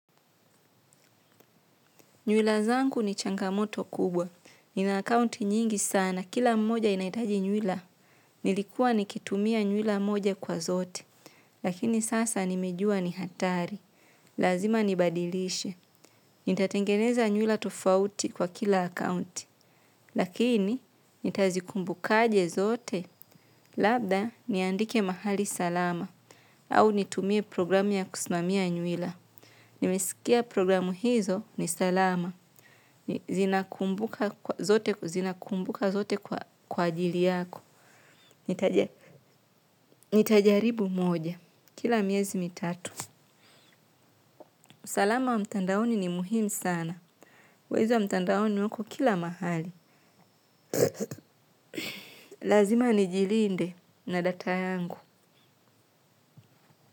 Nywila zanku ni changamoto kubwa. Ni na akaunti nyingi sana, kila mmoja inaitaji nywila. Nilikuwa nikitumia nywila mmoja kwa zote. Lakini sasa nimejua ni hatari. Lazima nibadilishe. Nitatengeneza nywila tofauti kwa kila akounti. Lakini, nitazikumbu kaje zote. Labda, niandike mahali salama. Au nitumie programu ya kusimamia nywila. Nimesikia programu hizo ni salama. Zote zinakumbuka zote kwa ajili yako. Nitajaribu moja. Kila miezi mitatu usalama wa mtandaoni ni muhimu sana. Wezi wa mtandaoni wako kila mahali. Lazima nijilinde na data yangu.